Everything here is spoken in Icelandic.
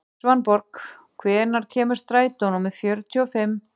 Svanborg, hvenær kemur strætó númer fjörutíu og fimm?